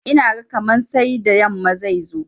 Ina ga kaman sai da yamma zai zo.